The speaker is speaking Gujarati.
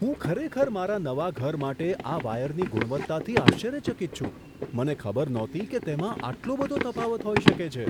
હું ખરેખર મારા નવા ઘર માટે આ વાયરની ગુણવત્તાથી આશ્ચર્યચકિત છું. મને ખબર નહોતી કે તેમાં આટલો બધો તફાવત હોઈ શકે છે!